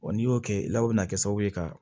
n'i y'o kɛ i la o bɛna kɛ sababu ye ka